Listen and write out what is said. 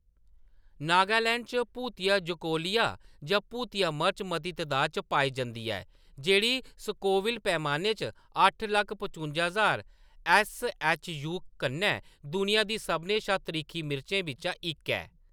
नागालैंड च भूत जोलोकिया जां भूतिया मर्च मती तदाद च पाई जंदी ऐ, जेह्‌‌ड़ी स्कोविल पैमाने पर अट्ठ लक्ख पचुंजा ज्हार ऐस्स. ऐच्च. यू कन्नै दुनिया दी सभनें शा त्रिक्खी मर्चें बिच्चा इक ऐ।